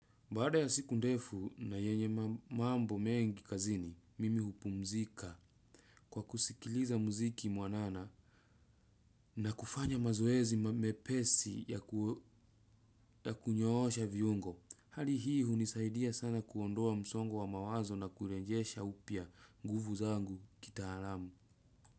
Baada ya siku ndefu na yenye mambo mengi kazini, mimi hupumzika kwa kusikiliza muziki mwanana na kufanya mazoezi mepesi ya kunyoosha viungo. Hali hii hunisaidia sana kuondoa msongo wa mawazo na kurenjesha upya nguvu zangu kitaalamu.